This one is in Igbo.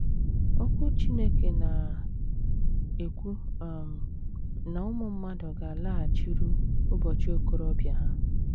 Okwu Chineke na - ekwu um na ụmụ mmadụ ga - alaghachiru ‘ ụbọchị okorobịa ha ’